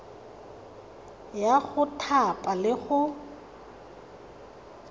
ya go thapa le go